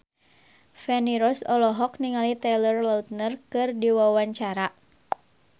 Feni Rose olohok ningali Taylor Lautner keur diwawancara